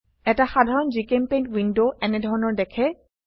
এটা সাধাৰণ জিচেম্পেইণ্ট উইন্ডো এনেধৰনৰ দেখে